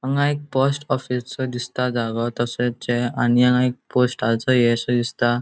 हांगा एक पोस्ट ऑफिसचो दिसता जागो तशेचे आणि हांगा एक पोस्टाचो ह्ये शे दिसता.